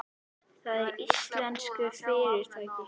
Það er íslenskt fyrirtæki.